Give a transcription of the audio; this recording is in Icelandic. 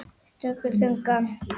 Stundi þungan.